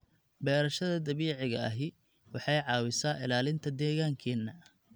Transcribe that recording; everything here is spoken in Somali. Beerashada dabiiciga ahi waxay caawisaa ilaalinta deegaankeena.